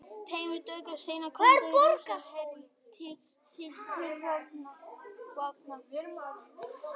Tveimur dögum seinna kvöddu Rússar herlið sitt til vopna.